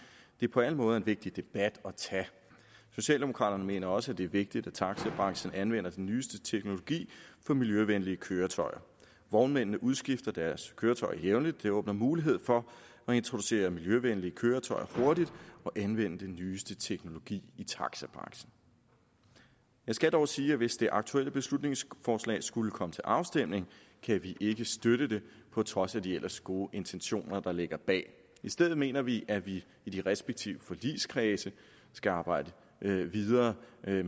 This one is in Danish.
det er på alle måder en vigtig debat at tage socialdemokraterne mener også det er vigtigt at taxabranchen anvender den nyeste teknologi for miljøvenlige køretøjer vognmændene udskifter deres køretøjer jævnligt det åbner mulighed for at introducere miljøvenlige køretøjer hurtigt og anvende den nyeste teknologi i taxabranchen jeg skal dog sige at hvis det aktuelle beslutningsforslag skulle komme til afstemning kan vi ikke støtte det på trods af de ellers gode intentioner der ligger bag i stedet mener vi at vi i de respektive forligskredse skal arbejde videre